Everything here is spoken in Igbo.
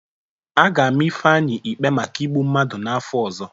A ga-ama Ifeanyị ikpe maka igbu mmadụ n'afọ ọzọ.